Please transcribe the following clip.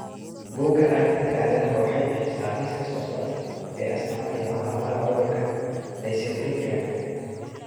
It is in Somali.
Bugga Aaragtiyaha Aadanaha waxay bixisaa liiska soo socda ee astamaha iyo calaamadaha cudurka Dysequilibriumka.